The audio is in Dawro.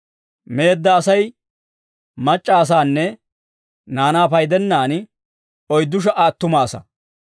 Meedda Asay mac'c'a asaanne naanaa paydennaan, oyddu sha"a attuma asaa.